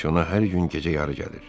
Pansiyona hər gün gecəyarı gəlir.